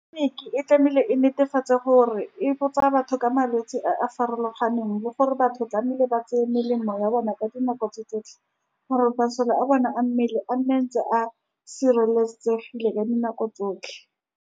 Tleliniki e tlamehile e netefatse gore e botsa batho ka malwetse a a farologaneng, bo gore batho ba tlamehile ba tseye melemo ya bona ka dinako tse tsotlhe, gore masole a bona a mmele a nne ntse a sireletsegile ka dinako tse tsotlhe.